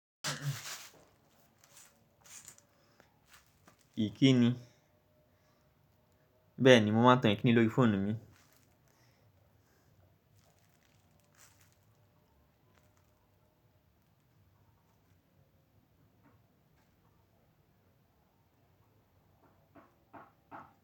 Bẹ́ẹ̀ni, mo máa tan ikíni lórí fóònù mi.